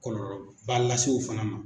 Kɔlɔlɔba lase o fana ma.